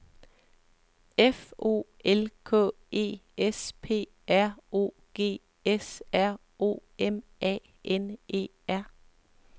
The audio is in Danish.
F O L K E S P R O G S R O M A N E R